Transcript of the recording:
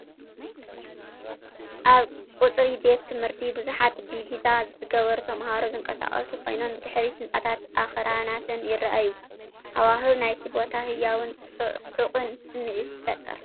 ኣብ ቀጽሪ ቤት ትምህርቲ ብዙሓት ዲቪዛ ዝገበሩ ተማሃሮ ዝንቀሳቐሱ ኮይኖም፡ ብድሕሪት ህንጻታትን ኣኽራናትን ይረኣዩ። ሃዋህው ናይቲ ቦታ ህያውን ጽዑቕን ስምዒት ይፈጥር።